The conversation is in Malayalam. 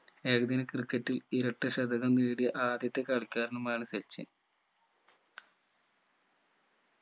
ഏകദിന ക്രിക്കറ്റിൽ ഇരട്ട ശതകം നേടിയ ആദ്യത്തെ കളിക്കാരനുമാണ് സച്ചിൻ